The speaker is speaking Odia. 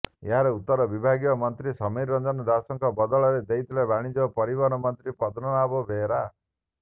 ଏହାର ଉତ୍ତର ବିଭାଗୀୟ ମନ୍ତ୍ରୀ ସମୀର ରଞ୍ଜନ ଦାସଙ୍କ ବଦଳରେ ଦେଇଥିଲେ ବାଣିଜ୍ୟ ଓ ପରିବହନ ମନ୍ତ୍ରୀ ପଦ୍ମନାଭ ବେହେରା